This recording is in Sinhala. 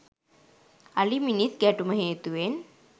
අලි මිනිස් ගැටුම හේතුවෙන්